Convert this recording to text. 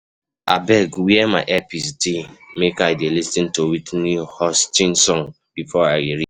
Abeg where my earpiece dey make I dey lis ten to Whitney Houston song before I reach.